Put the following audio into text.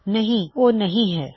ਨਹੀ ਉਹ ਨਹੀ ਹੈ